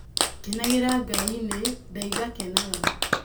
Kenagĩra Ngai-nĩ, ndaiga kenaga